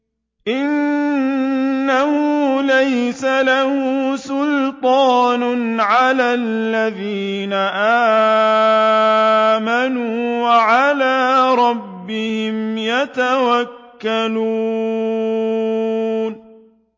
إِنَّهُ لَيْسَ لَهُ سُلْطَانٌ عَلَى الَّذِينَ آمَنُوا وَعَلَىٰ رَبِّهِمْ يَتَوَكَّلُونَ